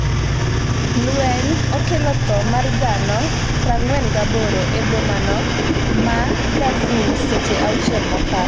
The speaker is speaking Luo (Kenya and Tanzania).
lweny okelo tho mar dhano 48 e bomano ma Darfur seche auchiel mokalo